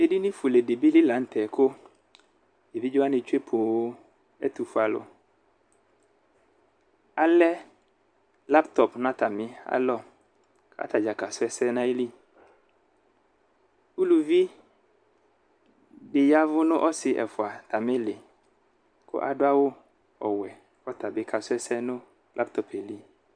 Edini fuele dibi la nu tɛ ku evidze wani tsue poo ɛtufue alu alɛ latopi nu atami alɔ atadza kadu ɛsɛ nu ayili uluvi di yavu nu ɔsi ɛfua atamili ku adu awu wɛ kɔya bi kasu ɛsɛ nu latopi li